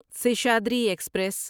Seshadri express